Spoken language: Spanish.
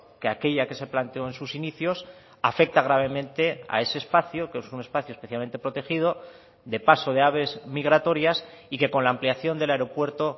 que aquella que se planteó en sus inicios afecta gravemente a ese espacio que es un espacio especialmente protegido de paso de aves migratorias y que con la ampliación del aeropuerto